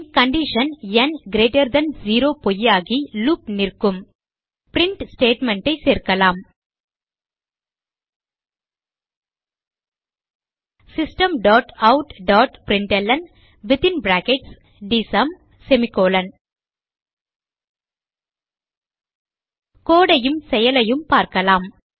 பின் condition ந் greater than 0 பொய்யாகி loop நிற்கும் பிரின்ட் statement ஐ சேர்க்கலாம் systemoutபிரின்ட்ல்ன் code ஐயும் செயலையும் பார்க்கலாம்